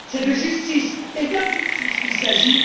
C'est de justice et d'injustice qu'il s'agit.